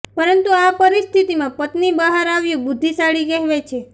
પરંતુ આ પરિસ્થિતિમાં પત્ની બહાર આવ્યું બુદ્ધિશાળી કેહવાય છે